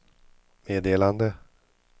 meddelande